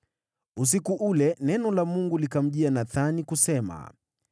Usiku ule neno la Mungu likamjia Nathani, kusema: